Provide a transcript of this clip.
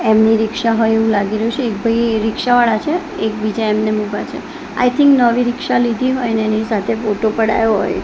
એમની રિક્ષા હોય એવુ લાગી રહ્યુ છે એક ભાઈ રિક્ષાવાળા છે એક બીજા એમનેમ ઊભા છે આઈ થિન્ક નવી રિક્ષા લીધી હોઈ ને એની સાથે ફોટો પડાવ્યો હોય--